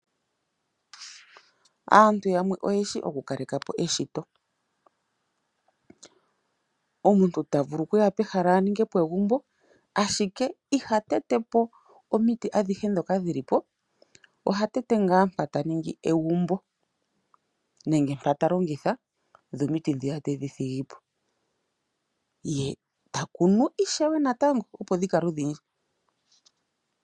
Aantu yamwe oyeshi oku kaleka po eshito . Omuntu ta vulu oku kuya pehala aninge po egumbo ashike iha tete po omiti adhihe dhoka dhili po. Oha tete ngaa mpoka ta ningi egumbo nenge mpa ta longitha ye omiti dhiya tedhi thigipo . Ye ta kunu ishewe natango opo dhi kale odhindji.